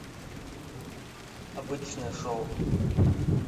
обычное шоу